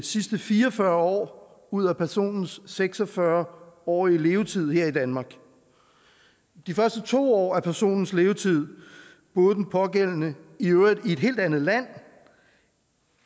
sidste fire og fyrre år ud af personens seks og fyrre årige levetid her i danmark de første to år af personens levetid boede den pågældende i øvrigt i et helt andet land